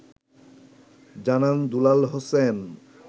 জানান দুলাল হোসেন